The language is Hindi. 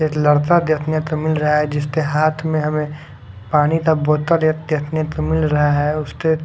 एक लड़का देखने को मिल रहा है जिसके हाथ में हमें पानी का बोतल एक देखने को मिल रहा है उसपे--